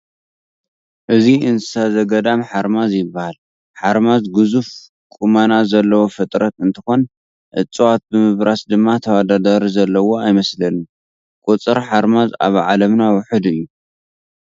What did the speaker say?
እዚ እንስሳ ዘገዳም ሓርማዝ ይበሃ፡፡ ሃርማዝ ግዙፍ ቁመና ዘለዎ ፍጥረት እንትኾን እፅዋት ብምብራስ ድማ ተወዳዳሪ ዘለዎ ኣይመስለንን፡፡ ቁፅር ሓርምዝ ኣብ ዓለምና ውሑድ እዩ፡፡